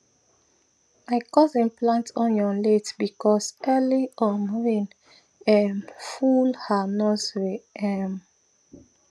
my cousin plant onion late because early um rain um full her nursery um